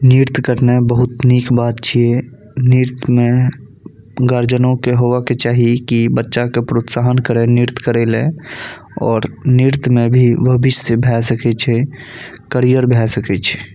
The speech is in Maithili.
नृत्य करने बहुत निक बात छैनृत्य मे गार्जन के होय के चाही की बच्चा के प्रोत्सावहन करे नृत्य करे ले और नृत्य में भी भविष्य भै सके छे करियर भैय सके छै।